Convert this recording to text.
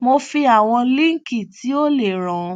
mo fi àwọn líǹkì tí ó lè ràn